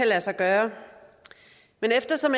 lade sig gøre men eftersom